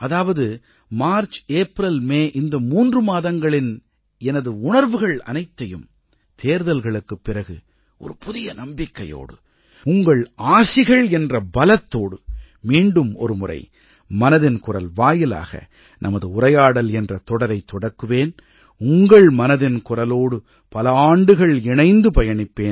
அதாவது மார்ச்ஏப்ரல்மே இந்த மூன்று மாதங்களின் எனது உணர்வுகள் அனைத்தையும் தேர்தல்களுக்குப் பிறகு ஒரு புதிய நம்பிக்கையோடு உங்கள் ஆசிகள் என்ற பலத்தோடு மீண்டும் ஒருமுறை மனதின் குரல் வாயிலாக நமது உரையாடல் என்ற தொடரைத் தொடக்குவேன் உங்கள் மனதின் குரலோடு பல ஆண்டுகள் இணைந்து பயணிப்பேன்